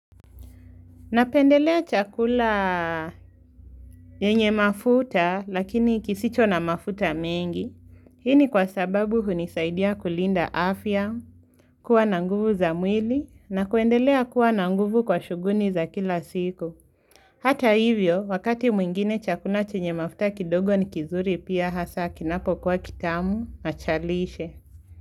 Napendelea chakula yenye mafuta lakini kisicho na mafuta mengi, hii ni kwa sababu hunisaidia kulinda afya, kuwa nanguvu za mwili na kuendelea kuwa nanguvu kwa shuguli za kila siku. Hata hivyo, wakati mwingine chakula chenye mafuta kidogo ni kizuri pia hasa kinapo kwa kitamu, nachalishe.